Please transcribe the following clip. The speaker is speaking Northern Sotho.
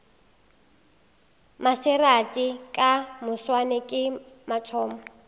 maserati ka moswane ke mathomo